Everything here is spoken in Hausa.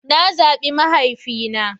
Na zaɓi mahaifina.